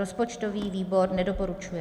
Rozpočtový výbor nedoporučuje.